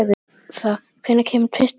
Hertha, hvenær kemur tvisturinn?